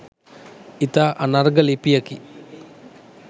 ඉතා අනර්ඝ ලිපියකි.